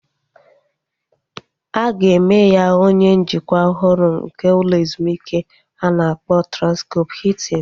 A ga-eme ya onye njikwa ọhụrụ nke ụlọ ezumike a na-akpọ Transkọp Hiltin